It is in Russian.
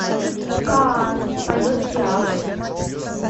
каас поет пиаф